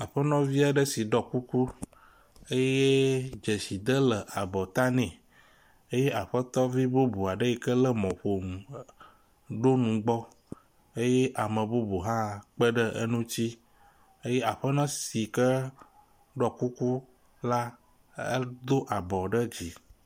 Aƒenɔvi aɖe si ɖɔ kuku eye dzeside le abɔta nɛ eye aƒetɔvi bubu eyike lé mɔƒonu ɖo nugbɔ eye ame bubu hã kpe ɖe ŋuti. Eye aƒenɔ si ke ɖo kuku la do abɔ ɖe dzi.